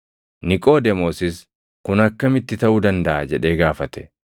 Niqoodemoosis, “Kun akkamitti taʼuu dandaʼa?” jedhee gaafate.